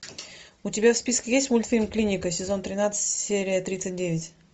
у тебя в списке есть мультфильм клиника сезон тринадцать серия тридцать девять